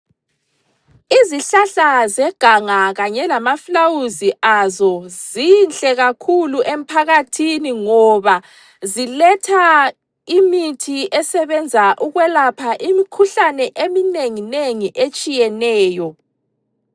Izihlahla zeganga kanye lamaflawuzi azo zinhle kakhulu emphakathini, ngoba ziletha imithi esebenza ukwelapha imikhuhlane eminengi nengi etshiyeneyo.